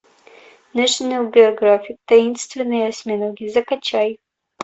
нэшинал географик таинственные осьминоги закачай